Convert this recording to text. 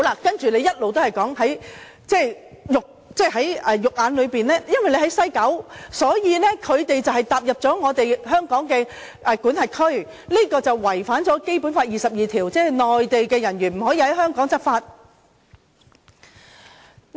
反對派一直說，因為在西九，所以當內地人員踏進香港的管轄區，便違反《基本法》第二十二條，即內地人員不能在香港執法。